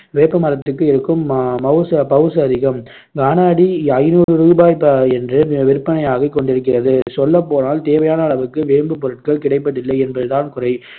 வேப்ப மரத்துக்கு இருக்கும் ம~ மவுசு மவுசு அதிகம். கன அடி ஐநூறு ரூபாய் என்று விற்பனையாகிக் கொண்டிருக்கிறது சொல்லப் போனால் தேவையான அளவுக்கு வேம்புப் பொருட்கள் கிடைப்பதில்லை என்பது தான் குறை